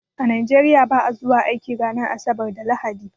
A Nigeria ba'a zuwa aiki ranar asabar da lahadi